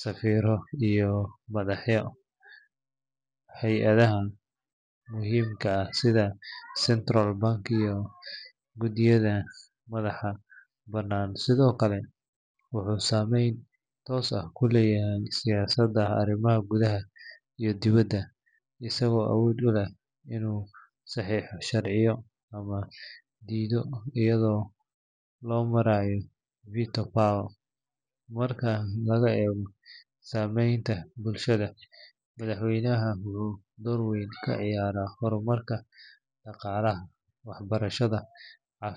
safiirro iyo madaxda hay’adaha muhiimka ah sida central bank iyo guddiyada madaxa bannaan. Sidoo kale, wuxuu saameyn toos ah ku leeyahay siyaasadda arrimaha gudaha iyo dibadda, isagoo awood u leh inuu saxiixo sharciyo ama diido iyada oo loo marayo veto power. Marka laga eego saameynta bulshada, madaxweynaha wuxuu door weyn ka ciyaaraa horumarka dhaqaalaha, waxbarashada, caafimaadka.